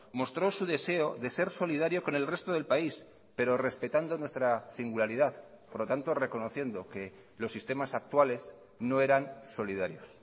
mostró su deseo de ser solidario con el resto del país pero respetando nuestra singularidad por lo tanto reconociendo que los sistemas actuales no eran solidarios